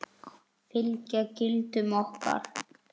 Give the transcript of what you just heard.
Fylgja gildum okkar.